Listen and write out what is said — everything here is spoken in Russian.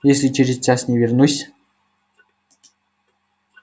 если через час не вернусь